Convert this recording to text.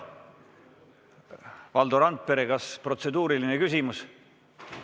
Valdo Randpere, kas protseduuriline küsimus?